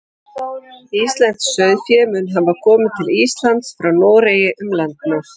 íslenskt sauðfé mun hafa komið til íslands frá noregi um landnám